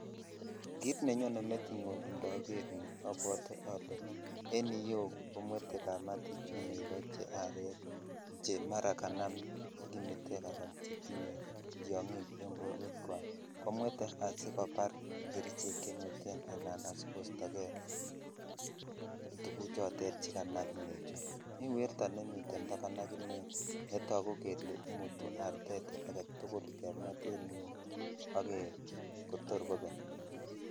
Kit nenyone metinyun indoor inoni abwote ole en iyeu komwete kamatichu negoo che are che imuch chekanam kimitek ala chetinye tyogik en borwek chwak ko mwete asikobar kerichek chemweten sla sikosyo kei tuguchote che kanam nechu mitrn werto nemiten taban ak inei nrtagu kele imutu artet agetukul kemweten yuu kotor kobek